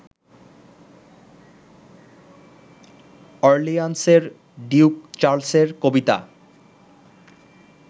অর্লিয়ান্সের duke চার্লসের কবিতা